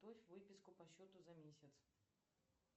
выписку по счету за месяц